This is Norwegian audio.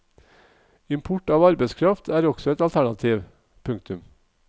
Import av arbeidskraft er også et alternativ. punktum